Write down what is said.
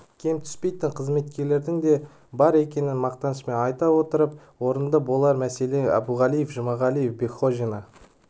кем түспейтін қызметкерлердің де бар екенін мақтанышпен айтып өткен орынды болар мәселен әбуғалиев жұмағалиев бекхожина